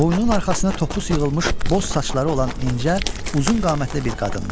Boynunun arxasına topus yığılmış boz saçları olan incə, uzun qamətli bir qadındır.